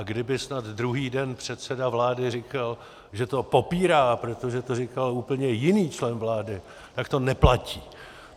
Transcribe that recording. A kdyby snad druhý den předseda vlády říkal, že to popírá, protože to říkal úplně jiný člen vlády, tak to neplatí.